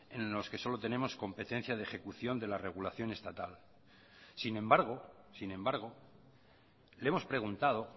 en los que solo tenemos competencia de ejecución de la regulación estatal sin embargo sin embargo le hemos preguntado